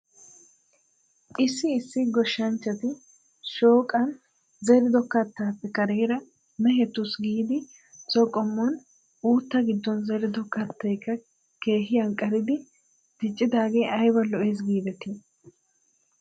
Issi issi goshshanchchati shooqan zerido kataappe kareera mehetaasi giidi so qommon uuttaa giddon zerido kattaykka keehi anqqaridi diccidaagee ayba lo'ees giidetii?